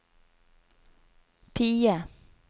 PIE